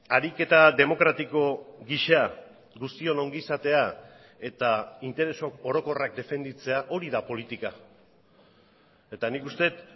ariketa demokratiko gisa guztion ongizatea eta interes orokorrak defenditzea hori da politika eta nik uste dut